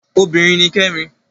Obinrin ni Kẹ́mi